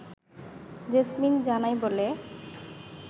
jasmine জানায় বলে